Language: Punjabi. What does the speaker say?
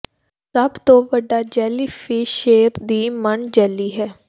ਸਭ ਤੋਂ ਵੱਡਾ ਜੈਲੀਫਿਸ਼ ਸ਼ੇਰ ਦੀ ਮਣ ਜੈਲੀ ਹੈ